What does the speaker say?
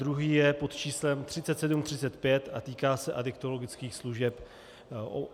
Druhý je pod číslem 3735 a týká se adiktologických služeb.